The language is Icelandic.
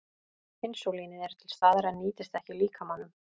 Insúlínið er til staðar en nýtist ekki líkamanum.